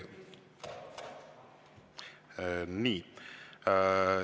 Nii.